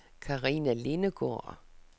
Karina Lindegaard